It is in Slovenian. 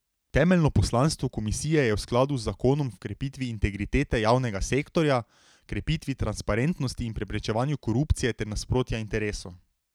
Temeljno poslanstvo komisije je v skladu z zakonom v krepitvi integritete javnega sektorja, krepitvi transparentnosti in preprečevanju korupcije ter nasprotja interesov.